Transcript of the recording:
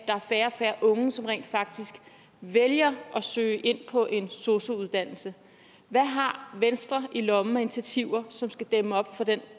er færre og færre unge som rent faktisk vælger at søge ind på en sosu uddannelse hvad har venstre i lommen af initiativer som skal dæmme op for den